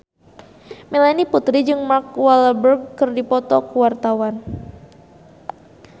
Melanie Putri jeung Mark Walberg keur dipoto ku wartawan